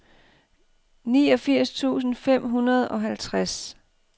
niogfirs tusind fem hundrede og halvtreds